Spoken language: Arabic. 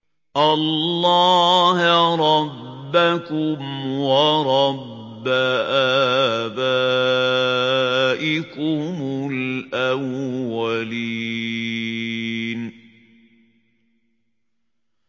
اللَّهَ رَبَّكُمْ وَرَبَّ آبَائِكُمُ الْأَوَّلِينَ